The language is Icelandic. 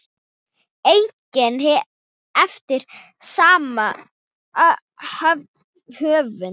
einnig eftir sama höfund.